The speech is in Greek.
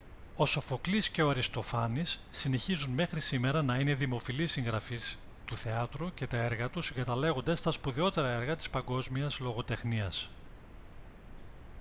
ο σοφοκλής και ο αριστοφάνης συνεχίζουν μέχρι σήμερα να είναι δημοφιλείς συγγραφείς του θεάτρου και τα έργα τους συγκαταλέγονται στα σπουδαιότερα έργα της παγκόσμιας λογοτεχνίας